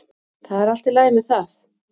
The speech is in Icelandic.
Það er allt í lagi með það.